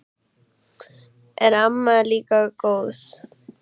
Er amma líka góð?